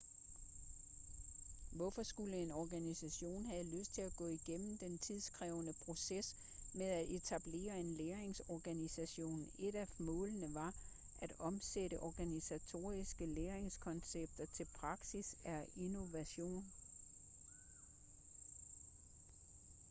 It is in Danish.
hvorfor skulle en organisation have lyst til at gå igennem den tidskrævende proces med at etablere en læringsorganisation et af målene ved at omsætte organisatoriske læringskoncepter til praksis er innovation